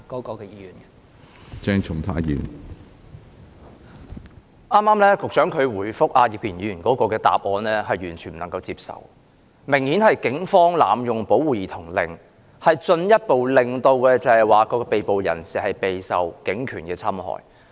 局長剛才就葉建源議員提問所作的答覆，可說是完全不能接受，因警方顯然是濫用保護兒童令，令被捕人士進一步受警權的侵害。